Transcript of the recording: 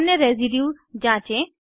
अन्य रेसीड्यूज़ जाँचें